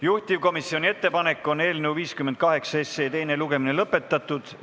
Juhtivkomisjoni ettepanek on eelnõu 58 teine lugemine lõpetada.